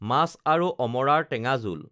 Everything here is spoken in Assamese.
মাছ আৰু অমৰাৰ টেঙা জোল